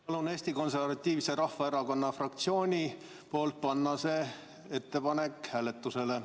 Palun Eesti Konservatiivse Rahvaerakonna fraktsiooni nimel panna see ettepanek hääletusele.